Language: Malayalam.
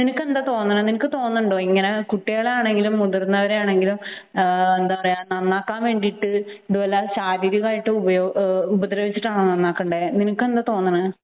നിനക്ക് എന്താണ് തോന്നുന്നത് നിനക്ക് തോന്നുന്നുണ്ടോ ഇങ്ങനെ കുട്ടികളാണെങ്കിലും മുതിർന്നവരാണെങ്കിലും നന്നാക്കാൻ വേണ്ടിയിട്ട് ഇതുപോലെ ശാരീരികമായിട്ട് ഉപദ്രവിച്ചിട്ടാണോ നന്നാക്കേണ്ടത് നിനക്ക് എന്താണ് തോന്നുന്നത്